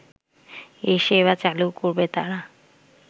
এ সেবা চালু করবে তারা